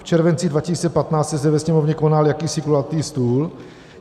V červenci 2015 se zde ve Sněmovně konal jakýsi kulatý stůl.